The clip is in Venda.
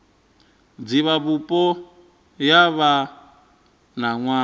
divhavhupo yo vha na nwaha